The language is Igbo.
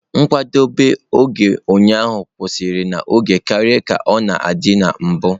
Nkwadebe ụnyaahụ kwụsịrị n'oge karịa ka ọ dị na mbụ.